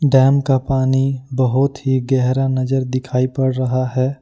Dam का पानी बहुत ही गहरा नजर दिखाई पड़ रहा है।